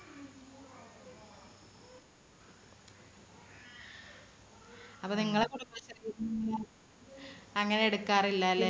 അപ്പോ നിങ്ങളുടെ കുടുംബശ്രീ അങ്ങനെ എടുക്കാറില്ലല്ലേ?